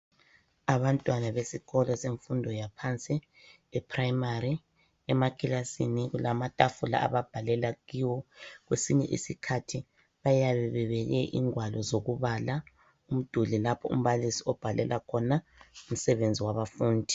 Abantwana besikolo semfundo yaphansi ePrimary, emakilasini kulamatafula ababhalela kiwo. Kwesinye isikhathi bayabe bebeke ingwalo zokubala. Umduli lapho umbalisi obhalela khona umsebenzi wabafundi.